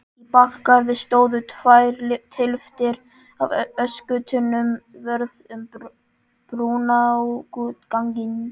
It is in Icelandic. Í bakgarði stóðu tvær tylftir af öskutunnum vörð um brunaútganginn.